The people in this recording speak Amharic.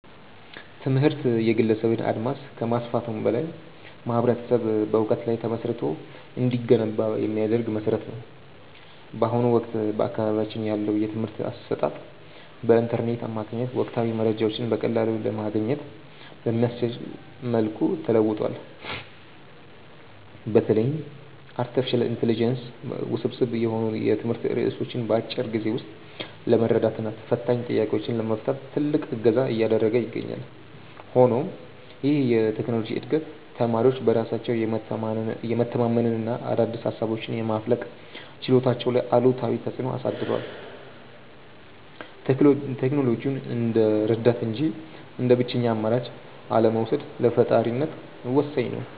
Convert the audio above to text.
ትምህርት የግለሰብን አድማስ ከማስፋቱም በላይ ማኅበረሰብ በዕውቀት ላይ ተመስርቶ እንዲገነባ የሚያደርግ መሠረት ነው። በአሁኑ ወቅት በአካባቢያችን ያለው የትምህርት አሰጣጥ በኢንተርኔት አማካኝነት ወቅታዊ መረጃዎችን በቀላሉ ለማግኘት በሚያስችል መልኩ ተለውጧል። በተለይም አርቲፊሻል ኢንተለጀንስ ውስብስብ የሆኑ የትምህርት ርዕሶችን በአጭር ጊዜ ውስጥ ለመረዳትና ፈታኝ ጥያቄዎችን ለመፍታት ትልቅ እገዛ እያደረገ ይገኛል። ሆኖም ይህ የቴክኖሎጂ ዕድገት ተማሪዎች በራሳቸው የመተንተንና አዳዲስ ሃሳቦችን የማፍለቅ ችሎታቸው ላይ አሉታዊ ተፅእኖ አድርሷል። ቴክኖሎጂውን እንደ ረዳት እንጂ እንደ ብቸኛ አማራጭ አለመውሰድ ለፈጣሪነት ወሳኝ ነው።